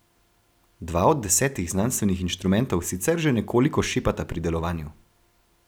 Dva od desetih znanstvenih inštrumentov sicer že nekoliko šepata pri delovanju.